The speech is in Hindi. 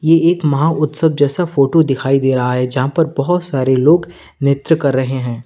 ये एक महा उत्सव जैसा फोटो दिखाई दे रहा है जहां पे बहुत सारे लोग नृत्य कर रहे हैं।